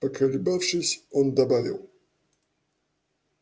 поколебавшись он добавил